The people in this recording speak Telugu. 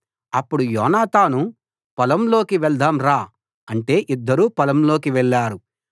అప్పుడు యోనాతాను పొలంలోకి వెళ్దాం రా అంటే ఇద్దరూ పొలంలోకి వెళ్లారు